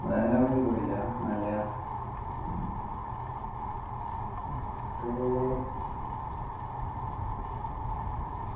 വേറെ എവിടേം പോയില്ല മല